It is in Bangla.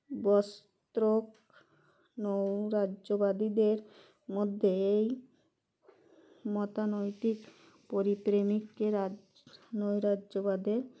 বস্ত্রক নৌরাজ্যবাদীদের মধ্যে এই মতানৈতিক পরি প্রেমিককে রাজ নৈরাজ্যবাদের